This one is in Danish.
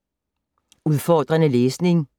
Udfordrende læsning